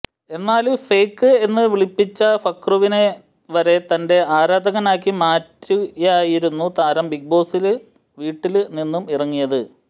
എന്നാല് ഫേക്ക് എന്ന് വിളിപ്പിച്ച ഫുക്രുവിനെ വരെ തന്റെ ആരാധകനാക്കി മാറ്റിയായിരുന്നു താരം ബിഗ്ബോസ് വീട്ടില് നിന്നും ഇറങ്ങിയത്